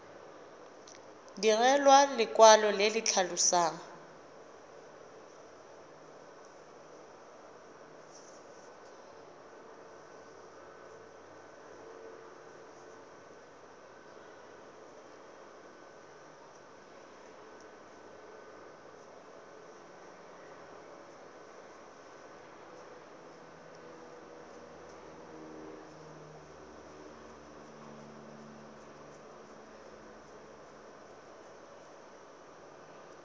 direlwa lekwalo le le tlhalosang